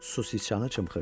Su siçanı cımxırdı.